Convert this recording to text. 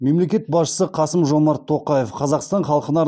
мемлекет басшысы қасым жомарт тоқаев қазақстан халқына